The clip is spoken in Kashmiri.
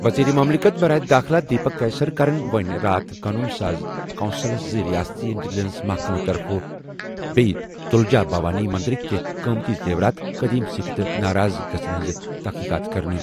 وزیر مملکت برائے داخلہ دیپک کیسرکرَن ووٚن راتھ قونوٗن ساز کونسلَس زِ ریاستی انٹلیجنس محکمہٕ طرفہٕ بیٚیہِ تُلجا بھوانی مندرٕک کینٛہہ قۭمتی زیورات، قٔدیٖم سِکہٕ تہٕ ناراض گژھَن ہٕنٛز تحقیقات کرنہٕ۔